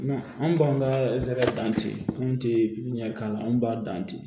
Anw b'an ka ɛrɛsara dan ten anw tɛ pipiniyɛri k'a anw b'a dan ten